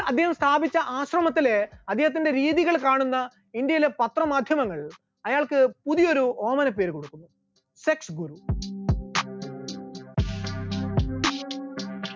അദേഹം സ്ഥാപിച്ച ആശ്രമത്തിലെ അദ്ദേഹത്തിന്റെ രീതികൾ കാണുന്ന ഇന്ത്യയിലെ പത്രമാധ്യമങ്ങൾ അയാൾക്ക് പുതിയൊരു ഓമനപ്പേര് കൊടുക്കുന്നു, sex ഗുരു,